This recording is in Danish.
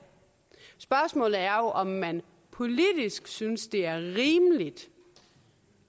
spørgsmålet er jo om man politisk synes det er rimeligt